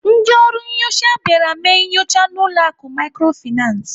Ndị ọrụ nnyocha bịara mee nyocha n'ụlọ akụ Microfinance.